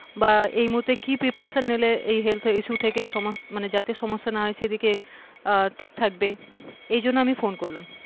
বা এই মুহূর্তে কি preparation নিলে এই health issue থেকে যাতে সমস্যা না হয় সেদিকে আহ ঠিক থাকবে এইজন্য আমি ফোন করলাম,